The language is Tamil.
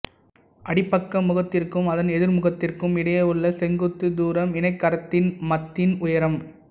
அடிப்பக்க முகத்திற்கும் அதன் எதிர்முகத்திற்கும் இடையே உள்ள செங்குத்து தூரம் இணைகரத்திண்மத்தின் உயரம்